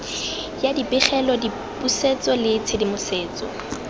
ya dipegelo dipusetso le tshedimosetso